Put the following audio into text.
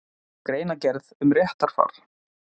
Greinargerð um réttarfar.